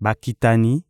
Bakitani